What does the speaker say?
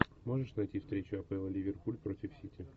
можешь найти встречу апл ливерпуль против сити